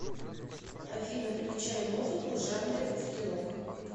афина включай музыку в жанре русский рок